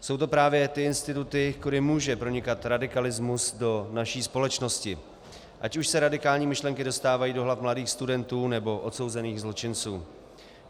Jsou to právě ty instituty, kudy může pronikat radikalismus do naší společnosti, ať už se radikální myšlenky dostávají do hlav mladých studentů, nebo odsouzených zločinců.